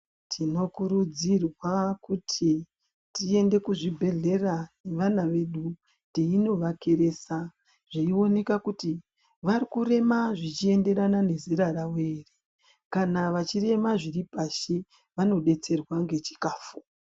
Tinokurudzirwa kuti tiende kuzvibhehlera nevana vedu teinovakeresa zveioneka kuti varikurema zvichienderana nezera ravo here kana vachirema zviri pashi vanodetserwa ngechikafu.